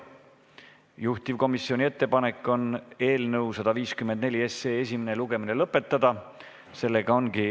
Juhtivkomisjoni ettepanek on eelnõu 154 esimene lugemine lõpetada.